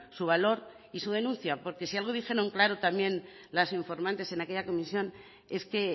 su valor y se denuncia porque si algo dijeron claro también las informantes en aquella comisión es que